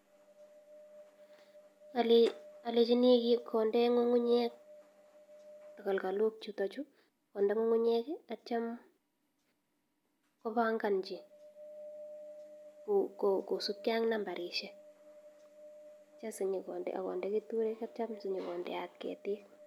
Olenchini konde ngungunyek takalkolok chuto chuu konde ngungunyek akitio kobongochi kosibke ak nambarishek asinyokonde ak konde keturek sitio konyokondeot ketik.